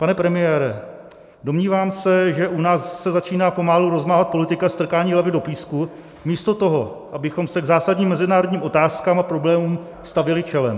Pane premiére, domnívám se, že u nás se začíná rozmáhat politika strkání hlavy do písku místo toho, abychom se k zásadním mezinárodním otázkám a problémům stavěli čelem.